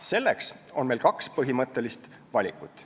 Selleks on meil kaks põhimõttelist valikut.